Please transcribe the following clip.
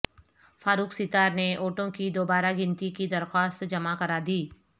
فاروق ستار نے ووٹوں کی دوبارہ گنتی کی درخواست جمع کرادی